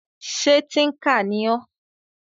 Ṣé tíńkà ni ọ́?